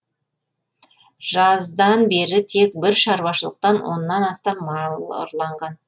жаздан бері тек бір шаруашылықтан оннан астам мал ұрланған